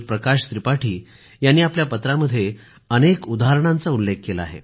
प्रकाश त्रिपाठी यांनी आपल्या पत्रामध्ये अनेक उदाहरणांचा उल्लेख केला आहे